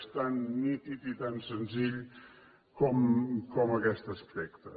és tan nítid i tan senzill com aquest aspecte